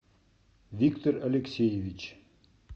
виктор алексеевич